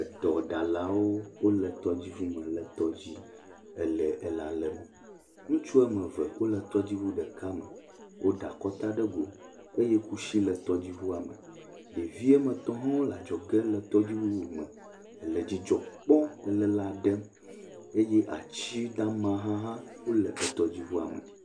Edɔɖalawo wole tɔdziŋu me le tɔdzi le elã lém. Ŋutsu wo ame eve wole tɔdziŋu ɖeka me. Woɖe akɔta ɖe go eye kusi le tɔdziŋua me. Ɖevi wo ame etɔ̃ hã wole adzɔge le tɔdziŋu bubu me le dzidzɔ kpɔm le lã ɖem eye ati dama hã wole tɔdziŋua me.